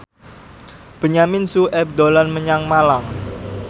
Benyamin Sueb dolan menyang Malang